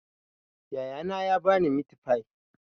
Yaya na ya ba ni mitifai